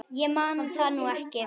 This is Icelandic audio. Ég man það nú ekki.